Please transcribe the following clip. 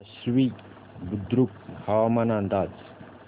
आश्वी बुद्रुक हवामान अंदाज